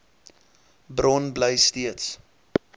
bron bly steeds